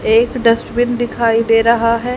एक डस्टबिन दिखाई दे रहा है।